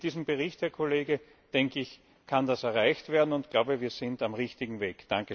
Mit diesem Bericht, Herr Kollege, denke ich, kann das erreicht werden, und ich glaube, wir sind auf dem richtigen Weg.